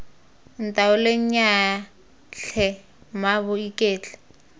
ntaoleng nnyaya tlhe mmaabo iketle